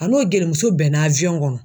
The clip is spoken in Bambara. A n'o gelimuso bɛnna kɔnɔ.